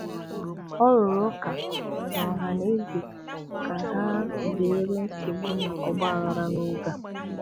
Ọ rụrụ ụka na ọha na eze ka ha zere nsogbu na ọgbaghara n'oge a.